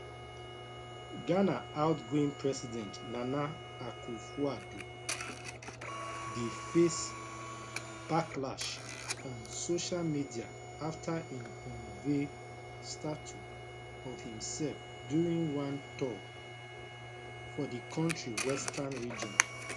ghana outgoing president nana akufoaddo dey face backlash on social media afta im unveil statue of imsef during one tour for di kontri western region